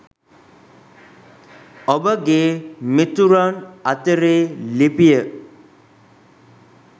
ඔබගේ මිතුරන් අතරේ ලිපිය